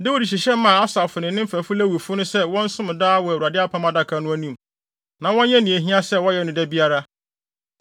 Dawid hyehyɛ maa Asaf ne ne mfɛfo Lewifo no sɛ wɔnsom daa wɔ Awurade Apam Adaka no anim, na wɔnyɛ nea ehia sɛ wɔyɛ no da biara.